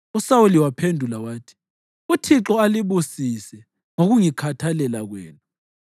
USawuli waphendula wathi, “ Uthixo alibusise ngokungikhathalela kwenu.